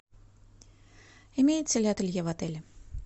имеется ли ателье в отеле